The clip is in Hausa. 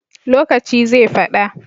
Lokaci zai fada